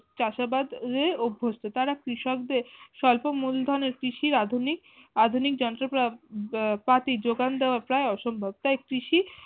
চাষাবাদে অভ্যাস্ত, তারা কৃষকদের স্বল্প মূলধনে কৃষির আধুনি আধুনিক যন্ত্র পাতি যোগান দেওয়া প্রায় অসম্ভব তাই কৃষি